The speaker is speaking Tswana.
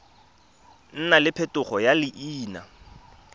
nna le phetogo ya leina